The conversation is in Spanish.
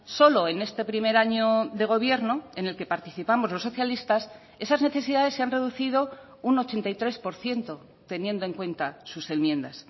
solo en este primer año de gobierno en el que participamos los socialistas esas necesidades se han reducido un ochenta y tres por ciento teniendo en cuenta sus enmiendas